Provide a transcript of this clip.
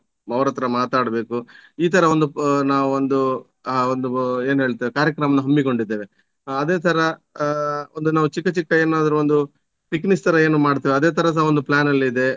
ಅವರತ್ರ ಮಾತಾಡಬೇಕು ಈ ತರ ಒಂದು ನಾವು ಒಂದು ಆ ಒಂದು ಏನ್ ಹೇಳ್ತೇವೆ ಕಾರ್ಯಕ್ರಮನ ಹಮ್ಮಿಕೊಂಡಿದ್ದೇವೆ. ಆ ಅದೇ ತರ ಆ ಒಂದು ನಾವು ಚಿಕ್ಕ ಚಿಕ್ಕ ಏನಾದ್ರೂ ಒಂದು picnics ತರ ನಾವು ಏನು ಮಾಡ್ತೇವೆ ಅದೇ ತರಸ ಒಂದು plan ಅಲ್ಲಿದೆ.